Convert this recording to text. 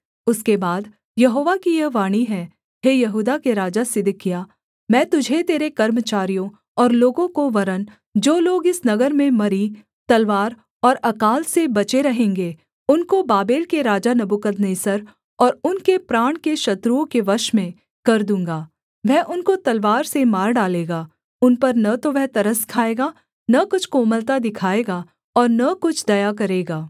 उसके बाद यहोवा की यह वाणी है हे यहूदा के राजा सिदकिय्याह मैं तुझे तेरे कर्मचारियों और लोगों को वरन् जो लोग इस नगर में मरी तलवार और अकाल से बचे रहेंगे उनको बाबेल के राजा नबूकदनेस्सर और उनके प्राण के शत्रुओं के वश में कर दूँगा वह उनको तलवार से मार डालेगा उन पर न तो वह तरस खाएगा न कुछ कोमलता दिखाएगा और न कुछ दया करेगा